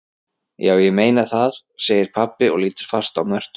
Já, ég meina það, segir pabbi og lítur fast á Mörtu.